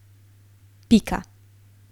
Pika.